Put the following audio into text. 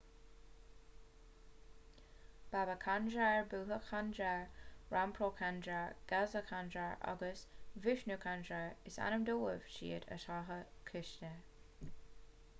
baba kanjar bhutha kanjar rampro kanjar gaza kanjar agus vishnu kanjar is ainm dóibh siúd atá cúisithe